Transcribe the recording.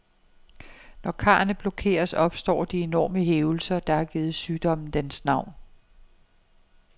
Når karrene blokeres, opstår de enorme hævelser, der har givet sygdommen dens navn.